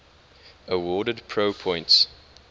awarded pro points